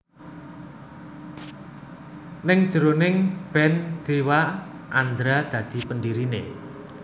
Ning njeroning band Dewa Andra dadi pendiriné